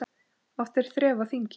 Oft er þref á þingi.